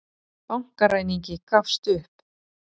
Bankaræningi gafst upp